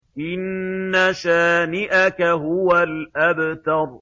إِنَّ شَانِئَكَ هُوَ الْأَبْتَرُ